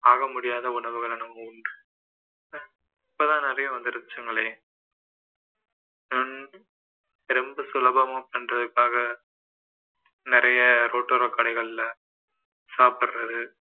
ஆக முடியாத உணவுகளை நாம உண்ணுறோம் இப்போதான் நிறைய வந்துருச்சுங்களே உம் ரொம்ப சுலபமா பண்றதுக்காக நிறைய ரோட்டோர கடைகள்ல சாப்பிடறது